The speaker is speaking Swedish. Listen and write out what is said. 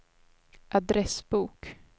adressbok